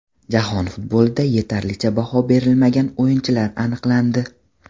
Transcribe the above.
Jahon futbolida yetarlicha baho berilmagan o‘yinchilar aniqlandi.